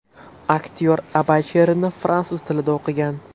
Aktyor Abay she’rini fransuz tilida o‘qigan.